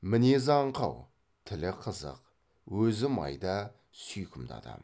мінезі аңқау тілі қызық өзі майда сүйкімді адам